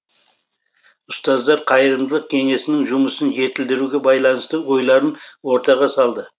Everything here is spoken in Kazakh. ұстаздар қайырымдылық кеңесінің жұмысын жетілдіруге байланысты ойларын ортаға салды